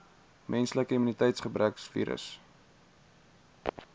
menslike immuniteitsgebrekvirus